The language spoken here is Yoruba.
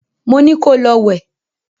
Mo ní ko lọ wẹ̀!